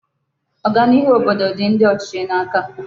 Oganiihu obodo di ndi ochichi n'aka